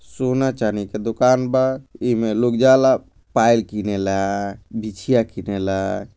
सोना- चाँदी के दुकान बा इमें लोग जाला पायल किनेला बिछिया किनेला।